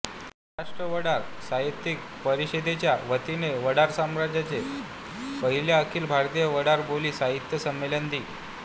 महाराष्ट्र वडार साहित्यिक परिषदेच्या वतीने वडार समाजाचे पहिले अखिल भारतीय वडार बोली साहित्य संमेलन दि